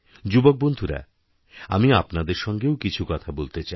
যুবক বন্ধুরা আমি আপনাদের সঙ্গেও কিছু কথা বলতে চাই